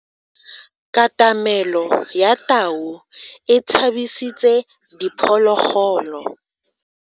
Katamelo ya tau e tshabisitse diphologolo.